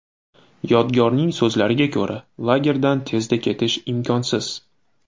Yodgorning so‘zlariga ko‘ra, lagerdan tezda ketish imkonsiz.